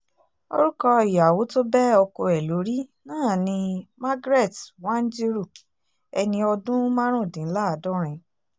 orúkọ ìyàwó tó bẹ́ ọkọ ẹ̀ lórí náà ni magret wanjiru ẹni ọdún márùndínláàdọ́rin